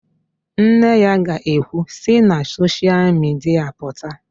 Nne ya ga-ekwu, "si na soshial midia pụta"!